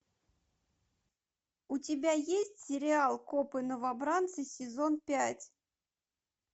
у тебя есть сериал копы новобранцы сезон пять